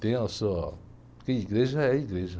Tem a sua, porque igreja é igreja.